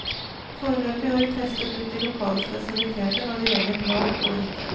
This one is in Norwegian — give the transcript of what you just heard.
Foreløpig har vi testet ut de lokale spesialiteter når det gjelder mat og drikke.